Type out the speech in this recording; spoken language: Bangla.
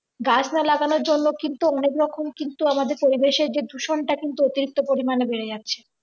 গাছটা লাগানোর জন্য কিন্তু অনেক রকম কিন্তু আমাদের পরিবেশের যে দূষণ টা কিন্তু অতিরিক্ত পরিমাণে বেড়ে যাচ্ছে